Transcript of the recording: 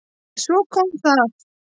En svo kom það!